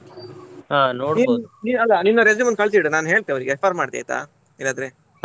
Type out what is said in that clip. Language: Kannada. ನೀನು ಅಲ್ಲ ನಿನ್ನ resume ಅನ್ನು ಕಳ್ಸಿಡು ನಾನ್ ಹೇಳ್ತೆ refer ಮಾಡ್ತೆ ಆಯ್ತಾ ಇಲ್ಲಾದ್ರೆ.